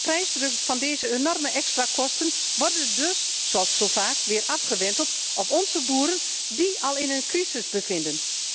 De prijsdruk van deze enorme extra kosten worden dus, zoals zo vaak, weer afgewenteld op onze boeren, die zich al in een crisis bevinden.